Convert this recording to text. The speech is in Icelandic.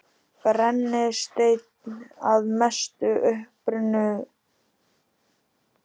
Brennisteinn að mestu uppurinn í Krýsuvík.